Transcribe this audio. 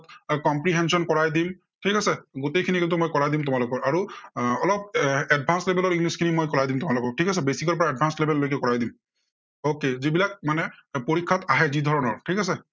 comprehension কৰাই দিম, ঠিক আছে। গোটেইখিনি এইটো কৰাই দিম তোমালোকক। আৰু আহ advanced level ত english খিনি মই কৰাই দিম তোমালোকক ঠিক আছে, basic ৰ পৰা advanced level লৈকে কৰাই দিম। okay যিবিলাক মানে পৰীক্ষাত আহে, যি ধৰণৰ ঠিক আছে